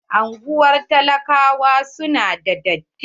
Anguwar talakawa su na da datti.